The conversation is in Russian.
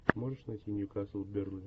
можешь найти ньюкасл бернли